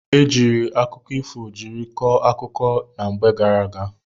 E jiiri akụkọ ifo jiri kọọ akụkọ na mgbe gara aga.